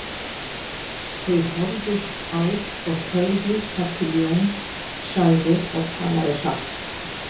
Þau horfðust á og þögðu þar til Jón sagði og talaði hratt